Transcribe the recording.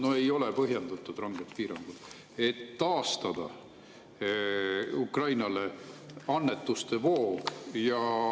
No ei ole põhjendatud ranged piirangud, et taastada Ukrainale annetuste voog.